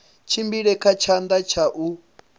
tshimbile kha tshanḓa tsha u